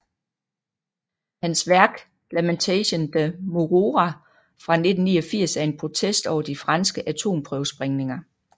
Hans værk Lamentation de Moruroa fra 1989 er en protest over de franske atomprøvesprængninger